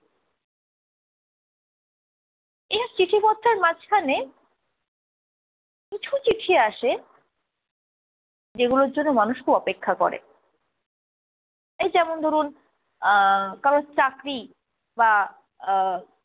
এইসব চিঠি পত্রের মাঝখানে কিছু চিঠি আসে যেগুলোর জন্য মানুষ খুব অপেক্ষা করে এই যেমন ধরুন আহ কারোর চাকরি বা আহ